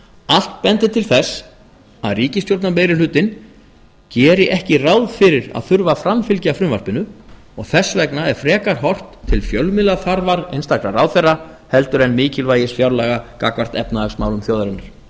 allt bendir til þess að ríkisstjórnarmeirihlutinn geri ekki ráð fyrir að þurfa að framfylgja frumvarpinu og þess vegna er frekar horft til fjölmiðlaþarfar einstakra ráðherra heldur en mikilvægis fjárlaga gagnvart efnahagsmálum þjóðarinnar